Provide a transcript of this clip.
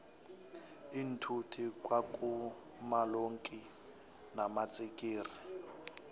iinthuthi kwa kuma lonki namatsikixi